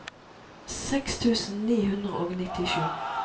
seks tusen ni hundre og nittisju